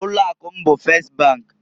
Ụlọ akụ m bụ Fest bank.